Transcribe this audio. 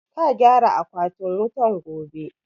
Ka gyara akwatin wutan gobe!